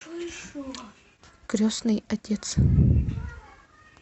крестный отец